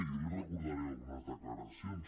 i jo li recordaré algunes declaracions